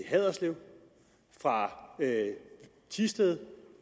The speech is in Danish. haderslev fra thisted